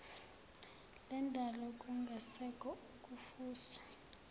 lendalo kungasekho ukufuswa